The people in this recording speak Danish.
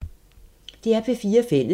DR P4 Fælles